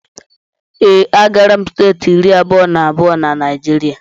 Ee, agaala m steeti iri abụọ na abụọ na Naijiria